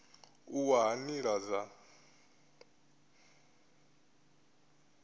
u wa ha nila dza